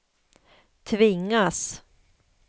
tvingas